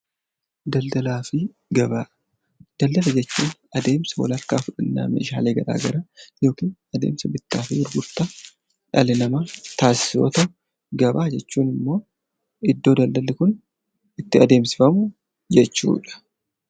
Daldalaa fi gabaa Daldala jechuun adeemsa wal harkaa fuudhinna meeshaalee gara garaa yookiin adeemsa bittaa fi gurgurtaa dhalli namaa taasisu yoo ta'u; Gabaa jechuun immoo iddoo daldalli kun itti adeemsifamu jechuu dha.